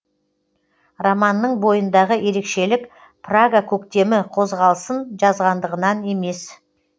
романның бойындағы ерекшелік прага көктемі қозғалысын жазғандығынан емес